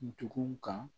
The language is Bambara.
Dugun kan